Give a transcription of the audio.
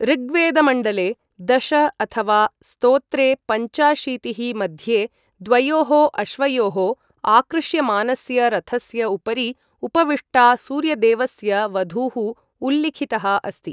ऋग्वेदमण्डले दश अथवा स्तोत्रे पञ्चाशीतिः मध्ये द्वयोः अश्वयोः आकृष्यमानस्य रथस्य उपरि उपविष्टा सूर्यदेवस्य वधूः उल्लिखितः अस्ति ।